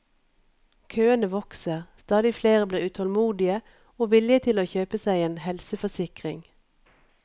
Køene vokser, stadig flere blir utålmodige og villige til å kjøpe seg en helseforsikring.